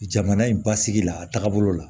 Jamana in basigi la a taaga bolo la